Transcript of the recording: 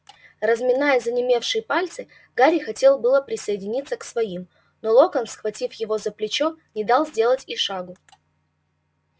разминая занемевшие пальцы гарри хотел было присоединиться к своим но локонс схватив его за плечо не дал сделать и шагу